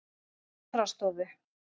Snorrastofu